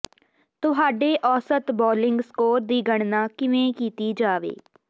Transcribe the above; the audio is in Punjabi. ਤੁਹਾਡੇ ਔਸਤ ਬੌਲਿੰਗ ਸਕੋਰ ਦੀ ਗਣਨਾ ਕਿਵੇਂ ਕੀਤੀ ਜਾਵੇ